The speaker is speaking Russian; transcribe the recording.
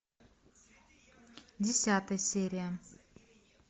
десятая серия